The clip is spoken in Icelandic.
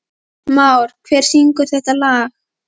Mára, hver syngur þetta lag?